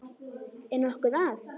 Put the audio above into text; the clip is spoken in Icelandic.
Er nokkuð að?